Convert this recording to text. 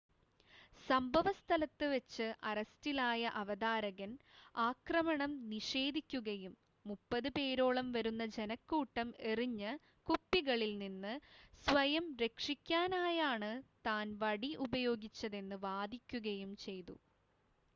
സംഭവസ്ഥലത്ത് വെച്ച് അറസ്റ്റിലായ അവതാരകൻ ആക്രമണം നിഷേധിക്കുകയും മുപ്പത് പേരോളം വരുന്ന ജനക്കൂട്ടം എറിഞ്ഞ കുപ്പികളിൽ നിന്ന് സ്വയം രക്ഷിക്കാനായാണ് താൻ വടി ഉപയോഗിച്ചതെന്ന് വാദിക്കുകയും ചെയ്തു